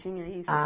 Tinha isso?